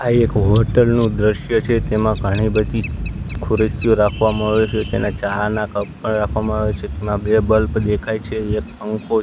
આ એક હોટલ નું દ્રશ્ય છે તેમાં ઘણી બધી ખુરશીઓ રાખવામાં આવી છે તેના ચા ના કપ પણ રાખવામાં આવે છે તેમાં બે બલ્બ દેખાય છે એક પંખો.